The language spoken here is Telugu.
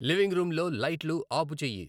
లివింగ్ రూమ్లో లైట్లు ఆపు చేయి